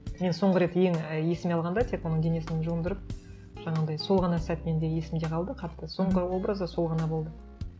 мен соңғы рет ең і есіме алғанда тек оның денесін жуындырып жаңағындай сол ғана сәт менде есімде қалды қатты соңғы образы сол ғана болды